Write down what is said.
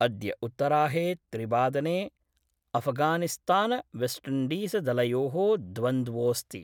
अद्य उत्तराहे त्रिवादने अफगानिस्तान वेस्टिण्डीजदलयो: द्वन्द्वोस्ति।